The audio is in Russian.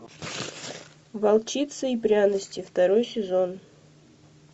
волчица и пряности второй сезон